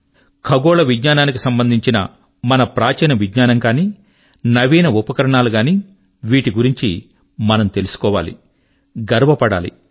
ఖగోళ విజ్ఞానాని కి సంబంధించిన మన ప్రాచీన విజ్ఞానం గానీ నవీన ఉపకరణాలు గానీ వీటి గురించి మనం తెలుసుకోవాలి గర్వపడాలి